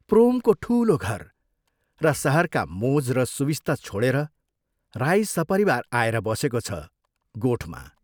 प्रोमको ठूलो घर र शहरका मोज़ र सुविस्ता छोडेर राई सपरिवार आएर बसेको छ गोठमा।